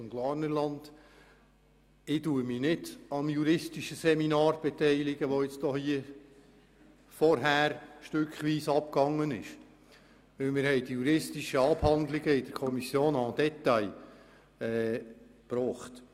Ich werde mich nicht am juristischen Seminar beteiligen, welches jetzt hier stückweise abgehalten wurde, denn die juristischen Abhandlungen wurden in der Kommission en détail durchgegangen.